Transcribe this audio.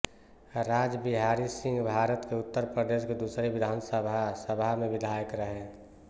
राज बिहारी सिंहभारत के उत्तर प्रदेश की दूसरी विधानसभा सभा में विधायक रहे